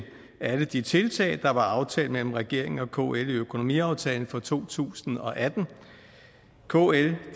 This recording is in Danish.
alle de tiltag der var aftalt mellem regeringen og kl i økonomiaftalen for to tusind og atten kl